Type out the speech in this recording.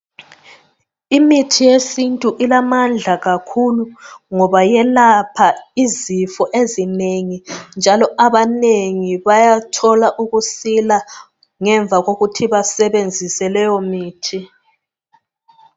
Imithi yesintu ilamandla kakhulu ngoba yelapha izifo ezinengi njalo abanengi bayathola ukusila ngemva kokuthi basebenzise leyo mithi.